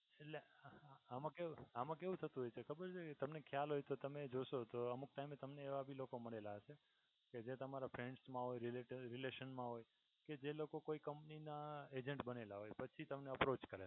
એટલે આમાં કેવું થતું હોય છે ખબર છે તમને ખ્યાલ હોય તો તમે જોશો તો અમુક time તમને એવા ભી લોકો મળેલા હશે. જે તમારા friends મા relation મા કે જે લોકો કોઈ company ના agent બનેલા હોય પછી તમને અપ્રોચ કરે.